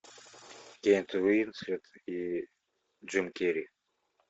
кейт уинслет и джим керри